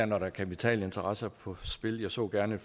når der er kapitalinteresser på spil jeg så gerne